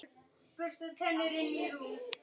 Orðstír góður ber þig yfir.